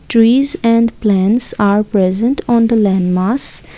trees and plants are present on the land mass.